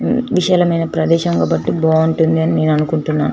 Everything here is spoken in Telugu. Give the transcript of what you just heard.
హా విశాలమైన ప్రదేశము కాబట్టీ బాగుంటుందనీ నేను అనుకుంటున్నా.